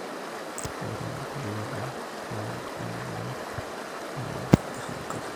Ore ebukokinoto oo ntongat na kitobiraa enkare